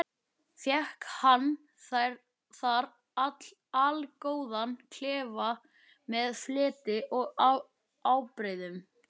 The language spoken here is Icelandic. Fékk hann þar allgóðan klefa með fleti og ábreiðum.